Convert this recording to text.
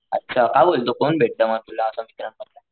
अच्छा काय बोलतो कोण भेटत मग तुला असं मित्रांमधलं?